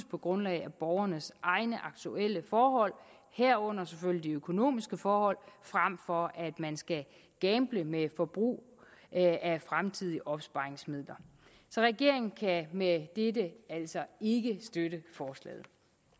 på grundlag af borgernes egne aktuelle forhold herunder selvfølgelig de økonomiske forhold frem for at man skal gamble med forbrug af fremtidige opsparingsmidler så regeringen kan med dette altså ikke støtte forslaget